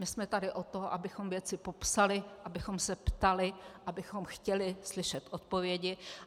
My jsme tady od toho, abychom věci popsali, abychom se ptali, abychom chtěli slyšet odpovědi.